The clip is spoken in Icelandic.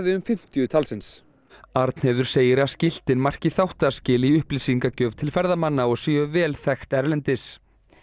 um fimmtíu talsins Arnheiður segir að skiltin marki þáttaskil í upplýsingagjöf til ferðamanna og séu vel þekkt erlendis